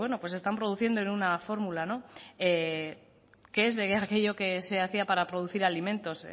están produciendo en una fórmula qué es de aquello que se hacía para producir alimentos